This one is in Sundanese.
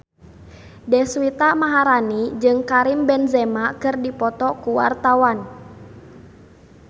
Deswita Maharani jeung Karim Benzema keur dipoto ku wartawan